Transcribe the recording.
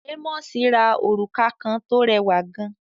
Ámósì ra òrùka kan tó rẹwà gan